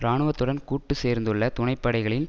இராணுவத்துடன் கூட்டு சேர்ந்துள்ள துணைப்படைகளில்